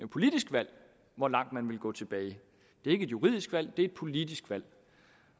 politisk valg hvor langt man vil gå tilbage det er ikke et juridisk valg det er et politisk valg